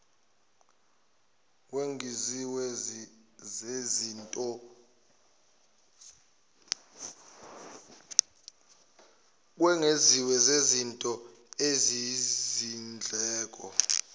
kungezinye zezinto eziyizindleko